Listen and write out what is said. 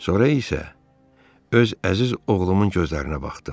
Sonra isə öz əziz oğlumun gözlərinə baxdım.